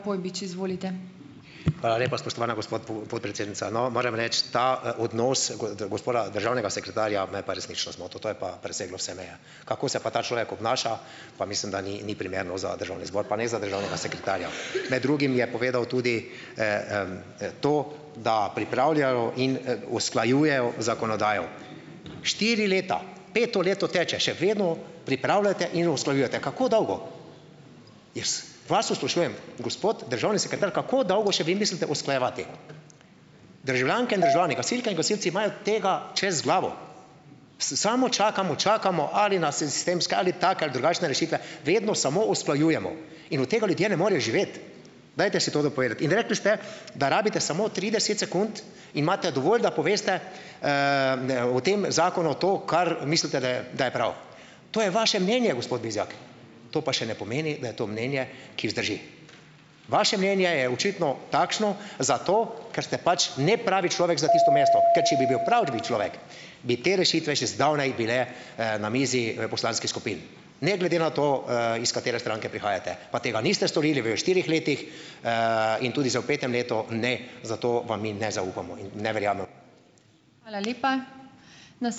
Hvala lepa, spoštovana gospa podpredsednica. No, morem reči ta, odnos gospoda državnega sekretarja me je pa resnično zmotil. To je pa preseglo vse meje. Kako se pa ta človek obnaša, pa mislim, da ni ni primerno za državni zbor. Pa ne za državnega sekretarja. Med drugim je povedal tudi to, da pripravljajo in, usklajujejo zakonodajo. Štiri leta! Peto leto teče. Še vedno pripravljate in usklajujete. Kako dolgo? Jaz vas to sprašujem. Gospod državni sekretar, kako dolgo še vi mislite usklajevati? Državljanke in državljani, gasilke in gasilci imajo tega čez glavo. Samo čakamo, čakamo ali na sistemske ali take ali drugačne rešitve vedno samo usklajujemo. In od tega ljudje ne morejo živeti. Dajte si to dopovedati. In rekli ste, da rabite samo trideset sekund imate dovolj, da poveste, o tem zakonu to, kar mislite, da je da je prav. To je vaše mnenje, gospod Bizjak. To pa še ne pomeni, da je to mnenje, ki vzdrži. Vaše mnenje je očitno takšno zato, ker ste pač nepravi človek za tisto mesto. Ker če bi bil pravi človek, bi te rešitve že zdavnaj bile, na mizi poslanskih skupin. Ne glede na to, iz katere stranke prihajate. Pa tega niste storili v štirih letih. In tudi zdaj v petem letu ne, zato vam mi ne zaupamo. In ne verjamem.